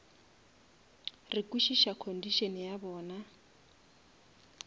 re kwešiša condition ya bona